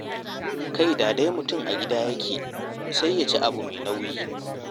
Kai da dai mutum a gida yake, sai ya ci abu mai nauyi.